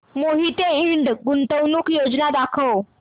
मोहिते इंड गुंतवणूक योजना दाखव